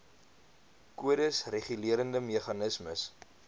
kodes regulerende meganismes